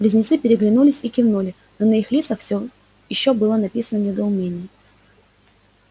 близнецы переглянулись и кивнули но на их лицах всё ещё было написано недоумение